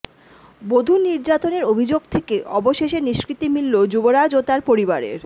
বধূ নির্যাতনের অভিযোগ থেকে অবশেষে নিষ্কৃতি মিলল যুবরাজ ও তাঁর পরিবারের